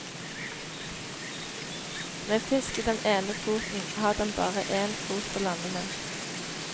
Med fisk i den ene foten har den bare én fot å lande med.